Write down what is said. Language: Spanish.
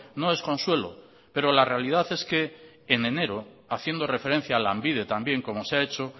no es consuelo pero la realidad es que en enero haciendo referencia a lanbide también como se ha hecho